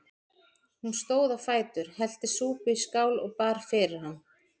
Hún stóð á fætur, hellti súpu í skál og bar fyrir hann.